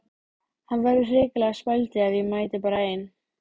Hann verður hrikalega spældur ef ég mæti bara ein!